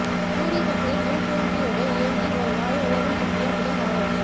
சூரிய சக்தியில் மின்சேமிப்பியோடு இயங்கி ஒரு நாளில் உலகம் சுற்றிய முதல் வானூர்தி